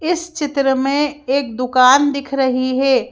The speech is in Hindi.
इस चित्र में एक दुकान दिख रही है।